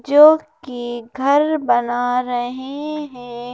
जो कि घर बना रहे हैं।